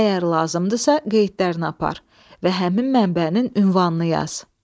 Əgər lazımdırsa, qeydlərini apar və həmin mənbənin ünvanını yaz.